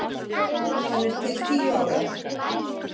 Hann er til tíu ára.